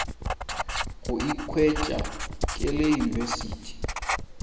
go ikhwetša ke le university